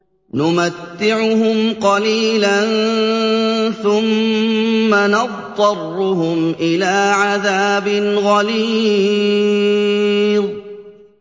نُمَتِّعُهُمْ قَلِيلًا ثُمَّ نَضْطَرُّهُمْ إِلَىٰ عَذَابٍ غَلِيظٍ